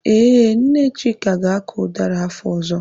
Ee, Nne Chika ga-akọ ụdara afọ ọzọ.